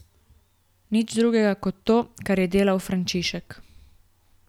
Nič drugega kot to, kar je delal Frančišek.